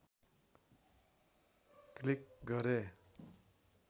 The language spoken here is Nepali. क्लिक गरे